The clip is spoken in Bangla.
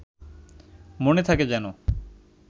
মনে থাকে যেন